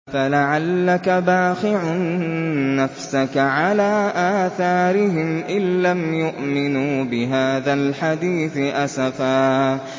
فَلَعَلَّكَ بَاخِعٌ نَّفْسَكَ عَلَىٰ آثَارِهِمْ إِن لَّمْ يُؤْمِنُوا بِهَٰذَا الْحَدِيثِ أَسَفًا